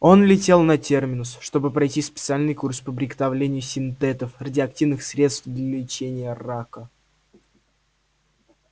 он летел на терминус чтобы пройти специальный курс по приготовлению синтетов радиоактивных средств для лечения рака